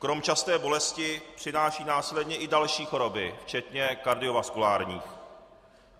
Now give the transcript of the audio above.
Krom časté bolesti přinášejí následně i další choroby, včetně kardiovaskulárních.